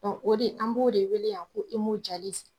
o de an b'o de weele yan ko .